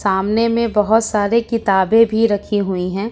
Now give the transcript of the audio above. सामने में बहोत सारी किताबें भी रखी हुई है।